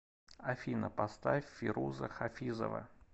афина поставь фируза хафизова